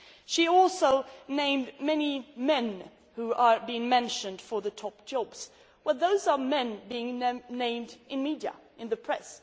She also named many men who are being mentioned for the top jobs, but those are men named in the media, in the press